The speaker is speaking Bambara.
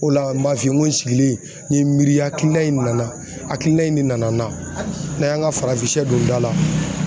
O la n b'a f'i ye n ko n sigilen n ye n miiri hakilina in na, hakilina in de nana n na, n'a y'an ka farafin shɛ don da la.